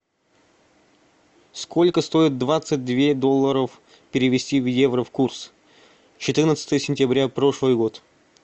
сколько стоит двадцать две долларов перевести в евро в курс четырнадцатое сентября прошлый год